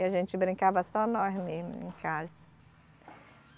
e a gente brincava só nós mesmo em casa.